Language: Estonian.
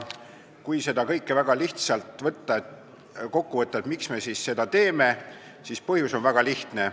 Kui see kõik väga lihtsalt kokku võtta, miks me seda teeme, siis põhjus on väga lihtne.